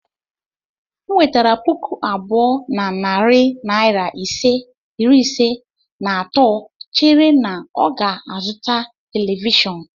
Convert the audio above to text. M wepụtara puku abụọ na narị naira iri ise, na-atụ chere na ọ ga-azụta telivishọn.